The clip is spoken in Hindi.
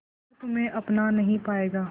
शहर तुम्हे अपना नहीं पाएगा